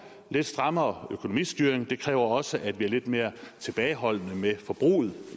lidt strammere økonomistyring og det kræver også at vi er lidt mere tilbageholdende med forbruget